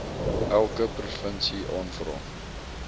elke provinsie aanvra